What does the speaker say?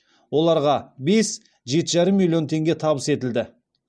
оларға бес жеті жарым миллион теңге табыс етілді